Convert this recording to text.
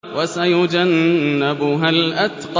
وَسَيُجَنَّبُهَا الْأَتْقَى